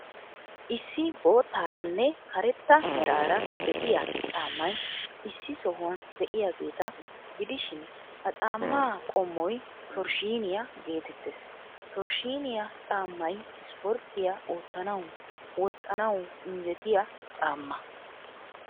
Issi boottaaraanne karetta meraaraa de'iyaa caammay issi sohuwan de'iyaageeta gidishin, ha caammaa qommoy torshshiiniyaa geetettees. Torshshiiniyaa caammay ispporttiyaa oottanawu, woxxanawu injjetiyaa caammaa.